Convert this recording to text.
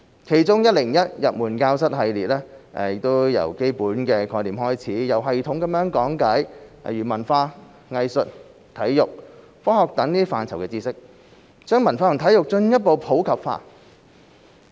其中的 "101 入門教室系列"，由基本概念開始，有系統地講解文化、藝術、體育、科學等範疇的知識，把文化和體育進一步普及化。